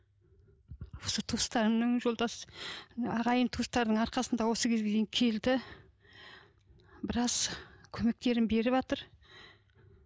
осы туыстарымның жолдас ағайын туыстардың арқасында осы кезге дейін келді біраз көмектерін беріватыр